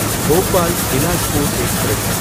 Bhopal Bilaspur express